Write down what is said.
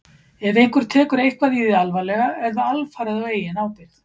ef einhver tekur eitthvað í því alvarlega er það alfarið á eigin ábyrgð